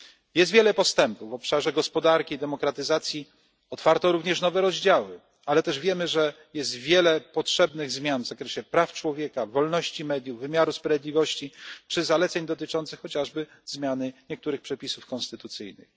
Jest wiele postępu w obszarze gospodarki i demokratyzacji, otwarto również nowe rozdziały ale też wiemy, że jest wiele potrzebnych zmian w zakresie praw człowieka, wolności mediów, wymiaru sprawiedliwości czy zaleceń dotyczących chociażby zmiany niektórych przepisów konstytucyjnych.